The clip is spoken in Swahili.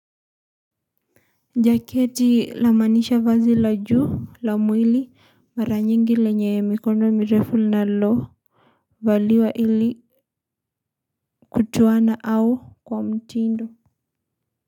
Jaketi namaanisha vazi la juu la mwili mara nyingi lenye mikono mirefu linalovaliwa ili kutoa au kwa mtindo.